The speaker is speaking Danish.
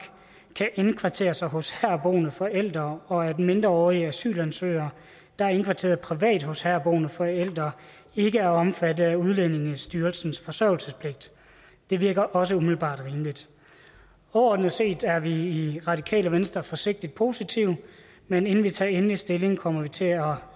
kan indkvartere sig hos herboende forældre og at mindreårige asylansøgere der er indkvarteret privat hos herboende forældre ikke er omfattet af udlændingestyrelsens forsørgelsespligt det virker også umiddelbart rimeligt overordnet set er vi i radikale venstre forsigtigt positive men inden vi tager endeligt stilling kommer vi til at